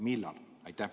Millal?